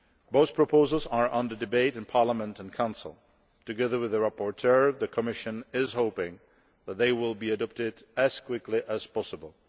Both proposals are under debate in Parliament and Council. Together with the rapporteur, the Commission is hoping that they will be adopted as quickly as possible.